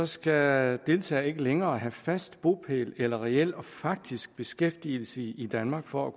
skal deltagere ikke længere have fast bopæl eller reel og faktisk beskæftigelse i danmark for